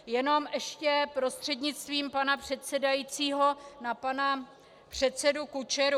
Jenom ještě prostřednictvím pana předsedajícího na pana předsedu Kučeru.